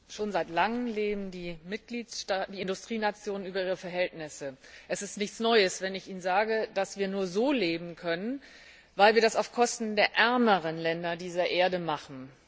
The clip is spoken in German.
Herr Präsident! Schon seit langem leben die Mitgliedstaaten, die Industrienationen über ihre Verhältnisse. Es ist nichts Neues, wenn ich Ihnen sage, dass wir nur so leben können, weil wir das auf Kosten der ärmeren Länder dieser Erde machen.